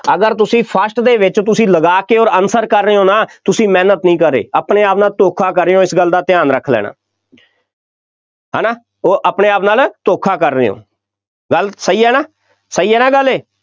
ਅਗਰ ਤੁਸੀਂ first ਦੇ ਵਿੱਚ ਤੁਸੀਂ ਲਗਾ ਕੇ ਅੋਰ answer ਕਰ ਰਹੇ ਹੋ ਨਾ, ਤੁਸੀਂ ਮਿਹਨਤ ਨਹੀਂ ਕਰ ਰਹੇ, ਆਪਣੇ ਆਪ ਨਾਲ ਧੋਖਾ ਕਰ ਰਹੇ ਹੋ, ਇਸ ਗੱਲ ਦਾ ਧਿਆਨ ਰੱਖ ਲੈਣਾ ਹੈ ਨਾ, ਉਹ ਆਪਣੇ ਆਪ ਨਾਲ ਧੋਖਾ ਕਰ ਰਹੇ ਹੋ, ਗੱਲ ਸਹੀ ਹੈ ਨਾ, ਸਹੀ ਹੈ ਨਾ ਗੱਲ ਇਹ,